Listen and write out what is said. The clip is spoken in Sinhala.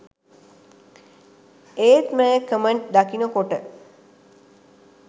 ඒත් මේ කමෙන්ට් දකිනකොට